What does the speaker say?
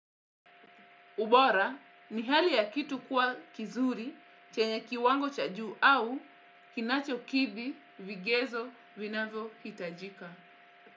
Ubora. Ni hali ya kitu kuwa kizuri chenye kiwango cha juu au kinacho kidhi vigezo vinavyo hitajika.